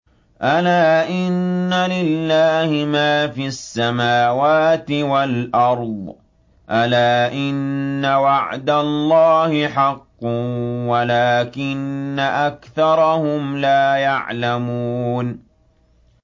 أَلَا إِنَّ لِلَّهِ مَا فِي السَّمَاوَاتِ وَالْأَرْضِ ۗ أَلَا إِنَّ وَعْدَ اللَّهِ حَقٌّ وَلَٰكِنَّ أَكْثَرَهُمْ لَا يَعْلَمُونَ